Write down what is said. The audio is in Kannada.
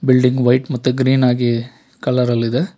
ಬಿಲ್ಡಿಂಗ್ ವೈಟ್ ಮತ್ತೆ ಗ್ರೀನ್ ಆಗಿ ಕಲರಲ್ಲಿದೆ.